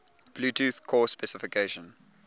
bluetooth core specification